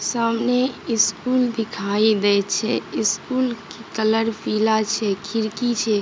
सामने स्कूल दिखाई दे छै स्कूल के कलर पीला छै खिड़की छै।